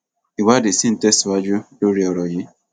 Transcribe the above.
ìwádìí sì ń tẹsíwájú lórí ọrọ yìí